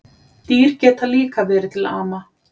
Dýr geta líka verið til ama